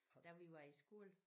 Da vi var i skole